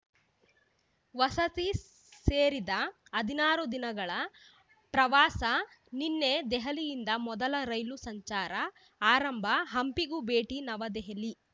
ವಸತಿ ಸೇರಿದ ಹದಿನಾರು ದಿನಗಳ ಪ್ರವಾಸ ನಿನ್ನೆ ದೆಹಲಿಯಿಂದ ಮೊದಲ ರೈಲು ಸಂಚಾರ ಆರಂಭ ಹಂಪಿಗೂ ಭೇಟಿ ನವದೆಹಲಿ